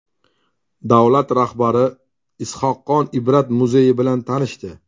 Davlat rahbari Is’hoqxon Ibrat muzeyi bilan tanishdi.